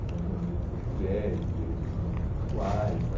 Então tem os direitos das mulheres, os direitos dos homossexuais, a...